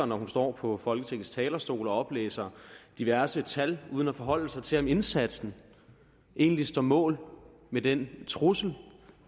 når hun står på folketingets talerstol og oplæser diverse tal uden at forholde sig til om indsatsen egentlig står mål med den trussel